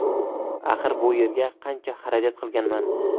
Axir bu yerga qancha xarajat qilinganman.